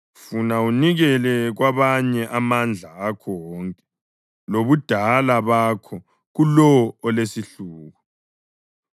funa unikele kwabanye amandla akho wonke lobudala bakho kulowo olesihluku,